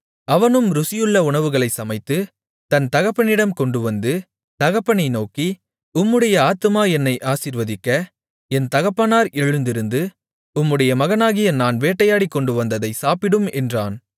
அவனும் ருசியுள்ள உணவுகளைச் சமைத்து தன் தகப்பனிடம் கொண்டுவந்து தகப்பனை நோக்கி உம்முடைய ஆத்துமா என்னை ஆசீர்வதிக்க என் தகப்பனார் எழுந்திருந்து உம்முடைய மகனாகிய நான் வேட்டையாடிக் கொண்டுவந்ததைச் சாப்பிடும் என்றான்